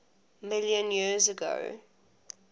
million years ago